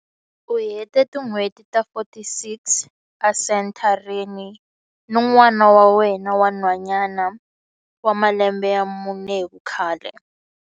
U hete tin'hweti ta 46 esenthareni ni n'wana wa yena wa nhwanyana wa malembe ya mune hi vukhale.